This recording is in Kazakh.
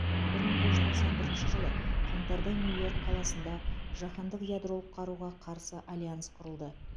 бір мың тоғыз жүз тоқсан бірінші жылы қаңтарда нью йорк қаласында жаһандық ядролық қаруға қарсы альянс құрылды